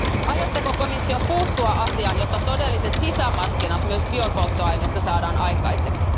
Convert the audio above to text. Aikooko komissio puuttua asiaan, jotta todelliset sisämarkkinat myös biopolttoaineissa saadaan aikaiseksi?